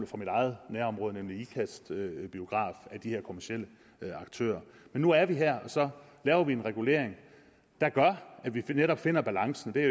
fra mit eget nærområde nemlig ikast bio af de her kommercielle aktører men nu er vi her og så laver vi en regulering der gør at vi netop finder balancen det